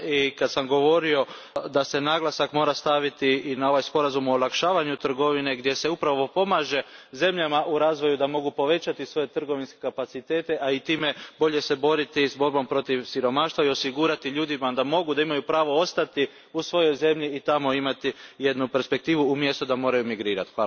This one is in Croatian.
Kada sam govorio da se naglasak mora staviti i na ovaj sporazum o olakšavanju trgovine gdje se pomaže zemljama u razvoju da mogu povećati svoje trgovinske kapacitete, a i time bolje se boriti protiv siromaštva i osigurati ljudima da mogu i imaju pravo ostati u svojoj zemlji i tamo imati perspektivu umjesto da moraju migrirati.